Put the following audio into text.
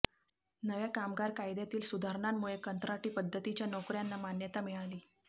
नव्या कामगार कायद्यातील सुधारणांमुळे कंत्राटी पद्धतीच्या नोकऱ्यांना मान्यता मिळाली